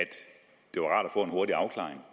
få en hurtig afklaring